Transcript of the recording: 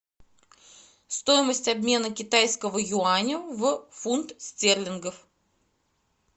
стоимость обмена китайского юаня в фунт стерлингов